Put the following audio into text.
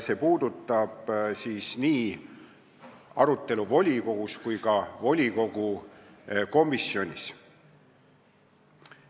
See puudutab siis nii arutelu volikogus kui ka volikogu komisjonis.